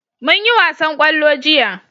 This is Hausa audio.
mun yi wasan da kwallo jiya